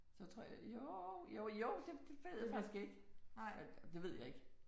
Så tror jeg jo jo jo det ved jeg faktisk ikke. Det ved jeg ikke